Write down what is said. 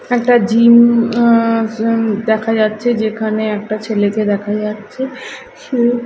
এটা একটা জিম আ জিম দেখা যাচ্ছে যেখানে একটা ছেলেকে দেখা যাচ্ছে সে --